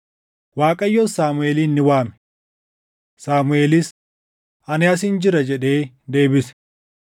Waaqayyos Saamuʼeelin ni waame. Saamuʼeelis, “Ani asin jira” jedhee deebise.